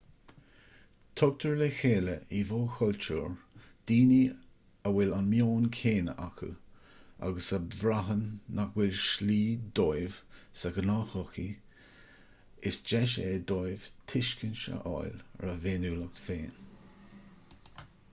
tugtar le chéile i bhfo-chultúir daoine a bhfuil an meon céanna acu agus a bhraitheann nach bhfuil slí dóibh sa ghnáthshochaí is deis é dóibh tuiscint a fháil ar a bhféiniúlacht féin